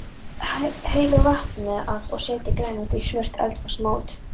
Hellið vatninu af og setjið grænmetið í smurt eldfast mót.